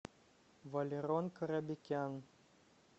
валерон карабекян